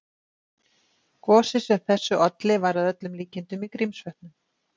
Gosið sem þessu olli var að öllum líkindum í Grímsvötnum.